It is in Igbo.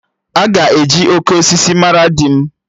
Aga eji 'Oke osisi' mara di m